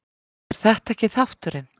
er þetta ekki þátturinn?